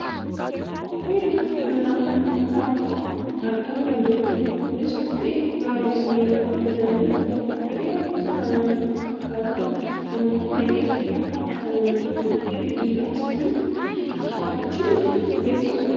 kophee luka namaatti kaawwatamu argaa kan jirrudha. kunis kophee gogaa loonii irraa hojjatame yoo ta'u kophee gosa kanaan wal fakkaatan ammoo mana keessatti kan kaawwatamanidha. Warri dhiiraas kana kaawwachuun kan beekkamudha.